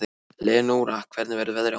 Leónóra, hvernig verður veðrið á morgun?